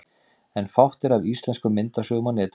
En fátt er af íslenskum myndasögum á netinu.